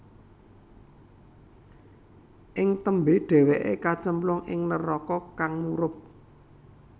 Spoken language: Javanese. Ing tembé dhèwèké kacemplung ing neraka kang murub